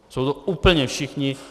Jsou to úplně všichni.